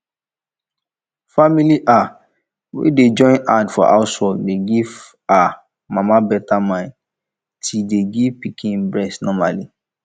family um wey dey join hand for housework dey give um mama beta mind ti dey give pikin breast normally